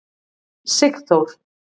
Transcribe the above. Sigþór